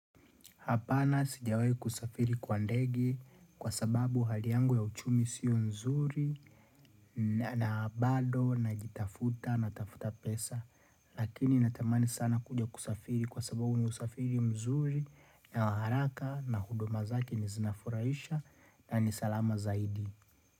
Hapana sijawahi kusafiri kwa ndege kwa sababu hali yangu ya uchumi sio nzuri na bado najitafuta natafuta pesa. Lakini natamani sana kuja kusafiri kwa sababu ni usafiri mzuri na wa haraka na huduma zake ni zinafuraisha na ni salama zaidi.